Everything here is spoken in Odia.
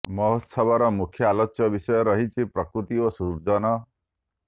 ମହୋତ୍ସବର ମୁଖ୍ୟ ଆଲୋଚ୍ୟ ବିଷୟ ରହିଛି ପ୍ରକୃତି ଓ ସୃଜନ